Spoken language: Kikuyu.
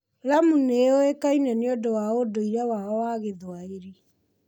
Lamu nĩ ĩ ũĩkaine nĩ ũndũ wa ũndũire wayo wa Gĩthwaĩri.